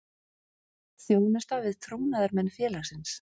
Þjónusta við trúnaðarmenn félagsins.